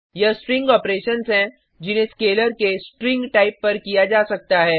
यह string operations हैं जिन्हें स्केलर के स्ट्रिंग टाइप पर किया जा सकता है